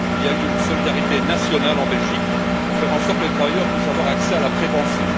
Il y a eu une solidarité nationale en Belgique pour faire en sorte que les travailleurs puissent avoir accès à la prépension.